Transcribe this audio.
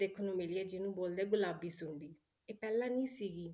ਦੇਖਣ ਨੂੰ ਮਿਲੀ ਹੈ ਜਿਹਨੂੰ ਬੋਲਦੇ ਹੈ ਗੁਲਾਬੀ ਸੁੰਡੀ, ਇਹ ਪਹਿਲਾਂ ਨੀ ਸੀਗੀ।